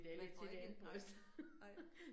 Man får ikke en nej, nej